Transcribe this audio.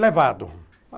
levado.